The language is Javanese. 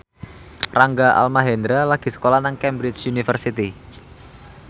Rangga Almahendra lagi sekolah nang Cambridge University